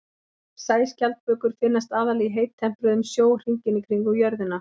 Sæskjaldbökur finnast aðallega í heittempruðum sjó hringinn í kringum jörðina.